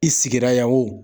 I sigira yan o